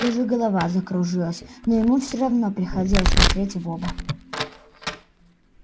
даже голова закружилась но ему все равно приходилось смотреть в оба